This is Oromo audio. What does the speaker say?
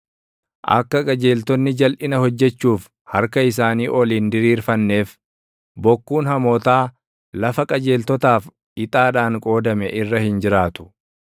Akka qajeeltonni jalʼina hojjechuuf harka isaanii ol hin diriirfanneef, bokkuun hamootaa lafa qajeeltotaaf ixaadhaan qoodame irra hin jiraatu.